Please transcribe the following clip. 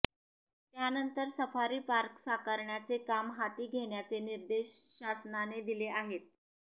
त्यानंतर safari park साकारण्याचे काम हाती घेण्याचे निर्देश शासनाने दिले आहेत